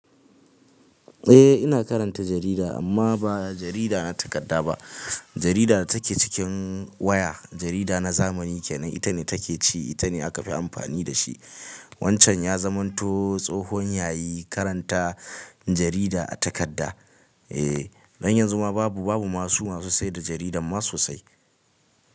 Eh ina karanta jarida amma ba jarida na takarda ba, jarida da take cikin waya. Jarida na zamani kenan ita ne take ci, ita ne aka fi amfani da shi. Wancan ya zamanto tsohon yayi karanta jarida a takarda. Eh, don yanzu ma babu, babu masu masu sayar da jarida ma so sai.